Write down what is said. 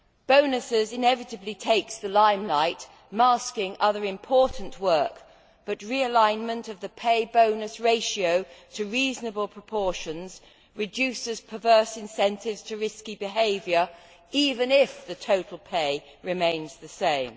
Bonuses inevitably take the limelight, masking other important work, but realignment of the pay bonus ratio to reasonable proportions reduces perverse incentives to risky behaviour, even if the total pay remains the same.